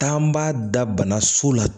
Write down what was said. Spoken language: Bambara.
Taa b'a da bana so la